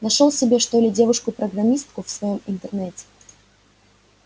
нашёл себе что ли девушку программистку в своём интернете